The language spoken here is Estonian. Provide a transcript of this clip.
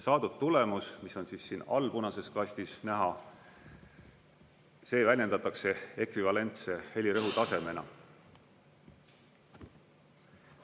Saadud tulemus, mis on siin all punases kastis näha, see väljendatakse ekvivalentse helirõhutasemena.